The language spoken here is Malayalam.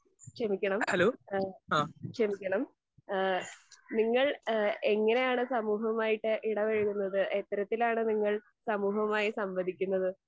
ക്ഷമിക്കണം, ഏഹ് ക്ഷമിക്കണം. ഏഹ് നിങ്ങൾ ഏഹ് എങ്ങിനെയാണ് സമൂഹവുമായിട്ട് ഇടപഴകുന്നത്? എത്തരത്തിൽ ആണ് നിങ്ങൾ സമൂഹവുമായി സംവദിക്കുന്നത്?